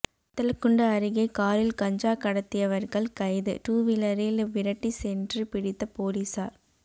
வத்தலக்குண்டு அருகே காரில் கஞ்சா கடத்தியவர்கள் கைது டூவீலரில் விரட்டி சென்று பிடித்த போலீசார்